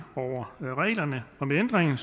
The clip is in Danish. over reglerne med ændringen